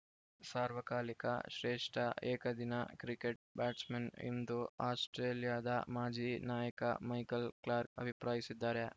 ಸಾರ್ವಕಾಲಿಕ ಶ್ರೇಷ್ಠ ಏಕದಿನ ಕ್ರಿಕೆಟ್‌ ಬ್ಯಾಟ್ಸ್‌ಮನ್‌ ಎಂದು ಆಸ್ಪ್ರೇಲಿಯಾದ ಮಾಜಿ ನಾಯಕ ಮೈಕಲ್‌ ಕ್ಲಾರ್ಕ್ ಅಭಿಪ್ರಾಯಿಸಿದ್ದಾರೆ